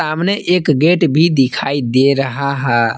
सामने एक गेट भी दिखाई दे रहा है।